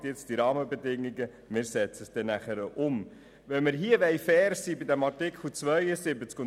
Nun sollen die Rahmenbedingungen geschaffen werden, damit wir das Anliegen des Antrags anschliessend umsetzen können.